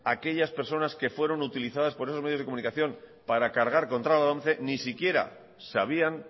aquellas personas que fueron utilizadas por esos medios de comunicación para cargar contra la lomce ni siquiera sabían